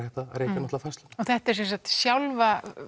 hægt að rekja færsluna en þetta er sem sagt sjálfa